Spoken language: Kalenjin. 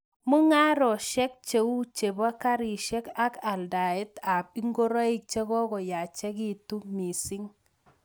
Mungarosiek cheu chepoo karisiek ak aldaet ap ingoroik chekokoyachekitu mising